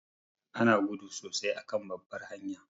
Ana gudu sosai a kan babbar hanya